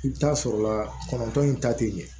I bɛ taa sɔrɔ la kɔnɔntɔn in ta tɛ ɲɛ